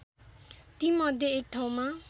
तीमध्ये एक ठाउँमा